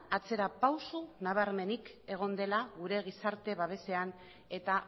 atzera pauso nabarmenik egon dela gure gizarte babesean eta